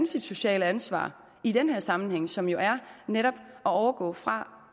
sit sociale ansvar i den her sammenhæng som jo er netop at overgå fra